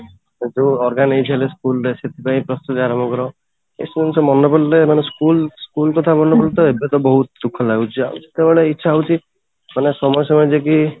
ସବୁ organise ହବ school ରେ ସେଥିପାଇଁ ପ୍ରସ୍ତୁତି ଆରମ୍ଭ କର ଏଇ ସବୁ ମନେ ପଡିଲେ school school କଥା ମନେ ପଡ଼ିଯାଏ ସେଇଟା ବହୁତ ଦୁଃଖ ଲାଗୁଛି ଆଉ ଯେତେବେଳେ ଇଛା ହଉଛି ଚାଲ ସମସ୍ତେ